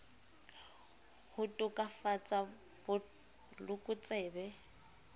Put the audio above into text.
ho to kafatsa bot lokotsebe